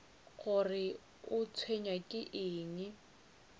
gore o tshwenywa ke eng